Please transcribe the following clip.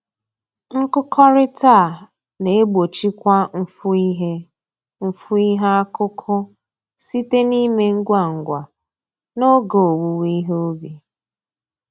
Nkụkọrịta a na-egbochikwa mfu ihe mfu ihe akụkụ site na-ime ngwa ngwa n'oge owuwe ihe ubi